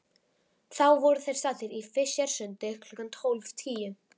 Þá voru þeir staddir í Fischersundi klukkan tólf tíu.